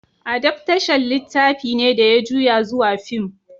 Adaftashan littafi ne da ya juya zuwa fim.